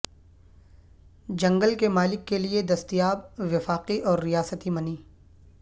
جنگل کے مالک کے لئے دستیاب وفاقی اور ریاستی منی